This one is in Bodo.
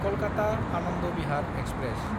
कलकाता–आनन्द बिहार एक्सप्रेस